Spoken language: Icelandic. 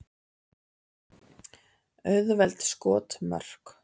Auðveld skotmörk.